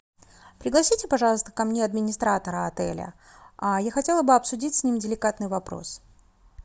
пригласите пожалуйста ко мне администратора отеля я хотела бы обсудить с ним деликатный вопрос